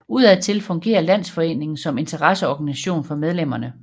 Udadtil fungerer landsforeningen som interesseorganisation for medlemmerne